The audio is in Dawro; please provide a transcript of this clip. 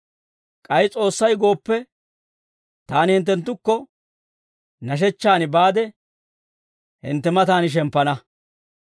K'ay S'oossay gooppe, taani hinttenttukko nashechchaan baade, hintte matan shemppana.